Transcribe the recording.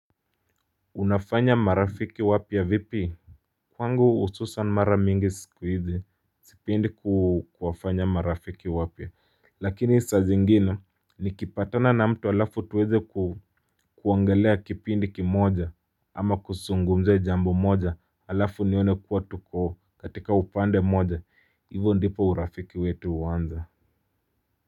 Unafanya marafiki wapi ya vipi Kwangu hususan mara mingi siku hizi sipendi ku kuwafanya marafiki wapya ya Lakini saa zingine nikipatana na mtu alafu tuweze kuongelea kipindi kimoja ama kusungumze jambo moja alafu nione kuwa tuko katika upande moja ivo ndipo urafiki wetu huanza.